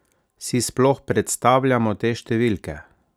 Si sploh predstavljamo te številke?